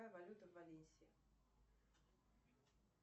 какая валюта в валенсии